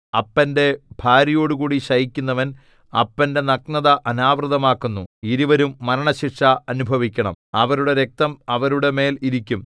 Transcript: അപ്പന്റെ ഭാര്യയോടുകൂടി ശയിക്കുന്നവൻ അപ്പന്റെ നഗ്നത അനാവൃതമാക്കുന്നു ഇരുവരും മരണശിക്ഷ അനുഭവിക്കണം അവരുടെ രക്തം അവരുടെ മേൽ ഇരിക്കും